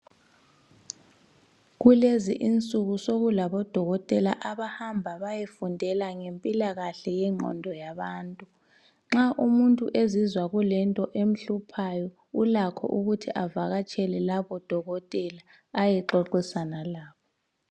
Kulezi insuku sekulabodokotela abahamba bayefundela ngempilakahle yengqondo yabantu. Nxa umuntu ezizwa kulento emhluphayo ulakho ukuthi avakatshele labo odokotela ayexoxisana labo.